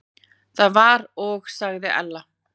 Það var og sagði Ella.